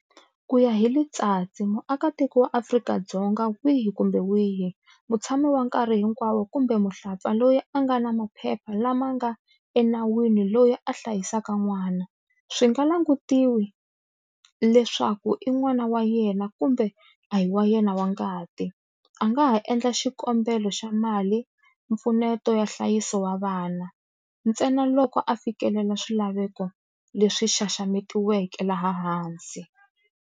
Ku ya hi Letsatsi, muakatiko wa Afrika-Dzonga wihi kumbe wihi, mutshami wa nkarhi hinkwawo kumbe muhlapfa loyi a nga na maphepha lama nga enawini loyi a hlayisaka n'wana, swi nga langutiwi le swaku i n'wana wa yena kumbe a hi wa yena wa ngati, a nga ha endla xikombelo xa mali mpfuneto ya nhlayiso wa vana, ntsenaloko a fikelela swilaveko leswi xaxametiweke laha hansi.